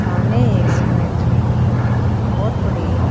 थाने ये कि बहुत बड़ी--